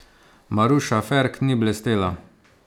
Maruša Ferk ni blestela.